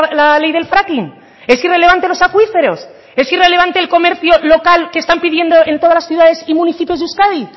la ley del fracking es irrelevante los acuíferos es irrelevante el comercio local que están pidiendo en todas las ciudades y municipios de euskadi